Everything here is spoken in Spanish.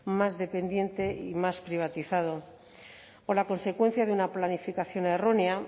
más dependiente y más privatizado con la consecuencia de una planificación errónea